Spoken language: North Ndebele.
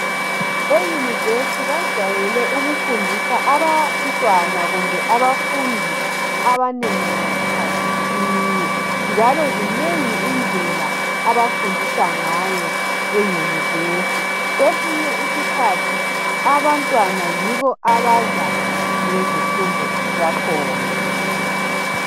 EYunivesithi bajayele ukufundisa abantwana kumbe abafundi abanengi ngasikhathi sinye njalo zinengi izindlela abafundisa ngayo eYunivesithi kwesinye isikhathi abantwana yibo abaza lezifundo zakhona.